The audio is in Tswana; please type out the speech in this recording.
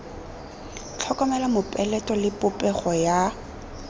tlhokomela mopeleto le popego ya